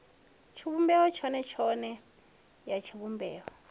tshivhumbeo tshone tshone ya tshivhumbeo